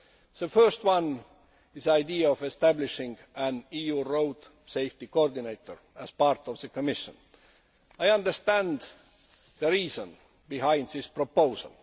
The first one is the idea of establishing an EU Road Safety Coordinator' as part of the Commission. I understand the reason behind this proposal.